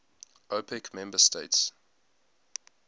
opec member states